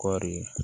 Kɔɔri